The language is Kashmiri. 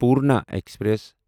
پورنا ایکسپریس